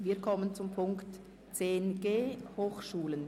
Wir kommen zum Themenblock 10.g Hochschulen.